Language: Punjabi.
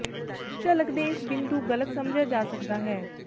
ਝਲਕ ਦੇ ਇਸ ਬਿੰਦੂ ਗਲਤ ਸਮਝਿਆ ਜਾ ਸਕਦਾ ਹੈ